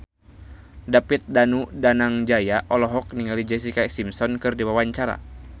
David Danu Danangjaya olohok ningali Jessica Simpson keur diwawancara